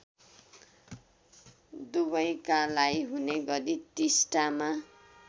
दुवैकालाई हुनेगरी टिस्टामा